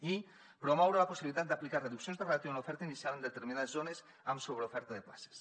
i promoure la possibilitat d’aplicar reduccions de ràtio en l’oferta inicial en determinades zones amb sobreoferta de places